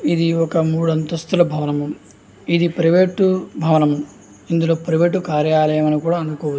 ఇది ఒక మూడు అంతస్థుల భవనము ఇది ప్రైవేట్ భవనము ఇదిప్రైవేట్ కార్యాలయం అని కూడా అను --